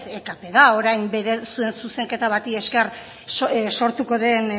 ekp da orain zuen zuzenketa bati esker sortuko den